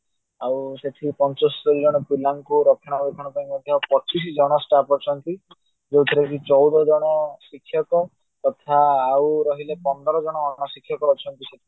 ଆଉ ସେଥିରେ ପଚସ୍ତରୀ ଜଣ ପିଲାଙ୍କୁ ରକ୍ଷାଣ ବକ୍ଷାଣ ପାଇଁ ମଧ୍ୟ ପଚିଶ ଜଣ staff ଅଛନ୍ତି ଯୋଉଥିରେ କି ଚଉଦ ଜଣ ଶିକ୍ଷକ ତଥା ଆଉ ପନ୍ଦର ଜଣ ପ୍ରଶିକ୍ଷକ ଅଛନ୍ତି ସେଠି